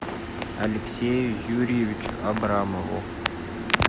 алексею юрьевичу абрамову